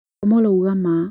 Omolo uga ma